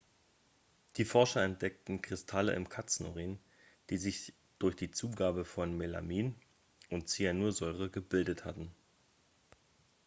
die forscher entdeckten kristalle im katzenurin die sich durch die zugabe von melamin und zyanursäure gebildet hatten